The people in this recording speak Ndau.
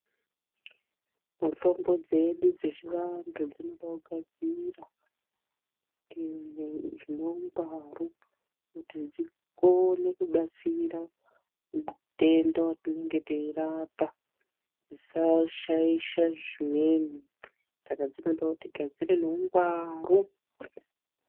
Mutombo dzedu dzechivantu dzinoda kugadzirwa, zvine ungwaru kuti dzikone kubatsira mutenda watinenge teirapa, dzishashaisha zvimweni, saka dzinoda kuti gadzire neungwaru.